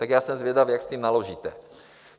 Tak já jsem zvědav, jak s tím naložíte.